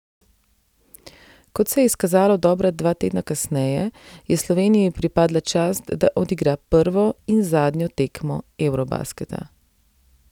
Kot se je izkazalo dobra dva tedna kasneje, je Sloveniji pripadla čast, da odigra prvo in zadnjo tekmo eurobasketa.